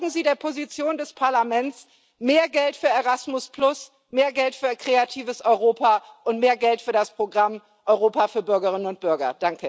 Folgen Sie der Position des Parlaments mehr Geld für Erasmus, mehr Geld für Kreatives Europa und mehr Geld für das Programm Europa für Bürgerinnen und Bürger.